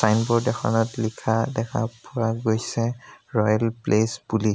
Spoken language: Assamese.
ছাইনবোৰ্ড এখনত লিখা দেখা পোৱা গৈছে ৰয়েল প্লেচ বুলি।